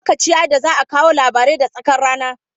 Lokaci ya yi da za a kawo labarai da tsakar rana.